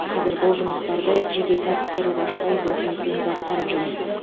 қазір бұл жұмыстарды жеке кәсіпкерлік ашпай досым екеуміз атқарып жүрміз